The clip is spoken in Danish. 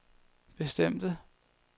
bestemte